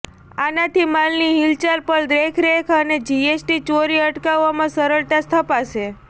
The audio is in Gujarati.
આનાથી માલની હિલચાલ પર દેખરેખ અને જીએસટી ચોરી અટકાવવામાં સરળતા સ્થપાશે